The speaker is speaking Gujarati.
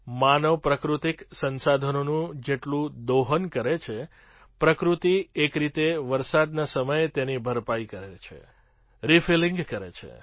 માનવ પ્રાકૃતિક સંસાધનોનું જેટલું દોહન કરે છે પ્રકૃતિ એક રીતે વરસાદના સમયે તેની ભરપાઈ કરે છે રિફિલિંગ કરે છે